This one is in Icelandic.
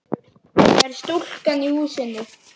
Það er stúlkan í húsinu.